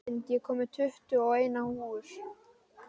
Lind, ég kom með tuttugu og eina húfur!